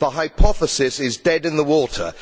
The hypothesis is dead in the water.